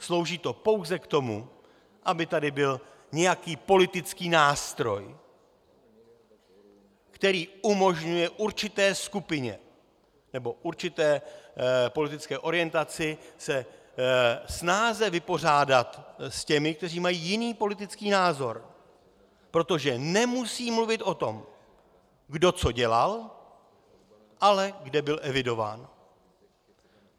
Slouží to pouze k tomu, aby tady byl nějaký politický nástroj, který umožňuje určité skupině nebo určité politické orientaci se snáze vypořádat s těmi, kteří mají jiný politický názor, protože nemusí mluvit o tom, kdo co dělal, ale kde byl evidován.